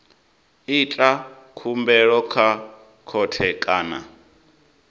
ita khumbelo kha khothe kana